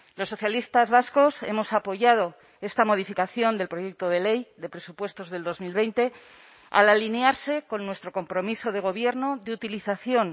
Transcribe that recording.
los socialistas vascos hemos apoyado esta modificación del proyecto de ley de presupuestos del dos mil veinte al alinearse con nuestro compromiso de gobierno de utilización